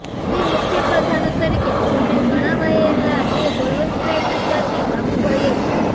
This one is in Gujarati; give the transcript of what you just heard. ભાવિ મુખ્ય પ્રધાનો તરીકે જેમને ગણાવાયેલા તે બળવંતરાય મહેતાથી બાબુભાઈ જ